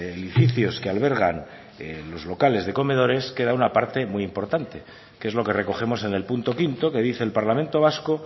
edificios que albergan los locales de comedores queda una parte muy importante que es lo que recogemos en el punto quinto que dice el parlamento vasco